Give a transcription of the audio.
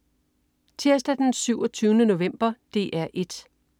Tirsdag den 27. november - DR 1: